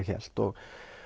hélt og